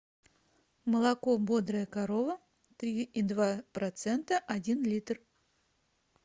молоко бодрая корова три и два процента один литр